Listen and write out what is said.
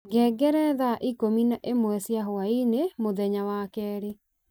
ngengere thaa ikũmi na ĩmwe cia hwaini mũthenya wa kerĩ